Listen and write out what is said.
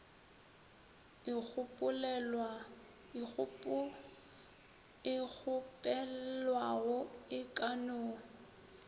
e kgopelwago e ka no